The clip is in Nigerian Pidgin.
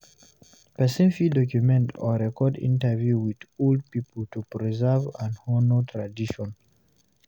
Person fit document or record interview with old pipo to preserve and honor tradition